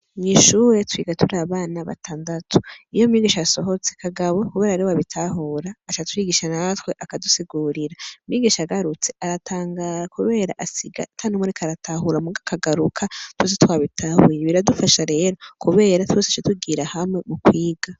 Mw'ishuri twiga turi abana batandatu. Iyo mwigisha asohotse, Kagabo kubera ariwe abitahura, aca atwigisha natwe, akadusigurira. Mwigisha agarutse aratangara kubera asiga ata n'umwe ariko aratahura muga akagaruka twese twabitahuye. Biradufasha rero kubera twese duca tugira hamwe mukwiga.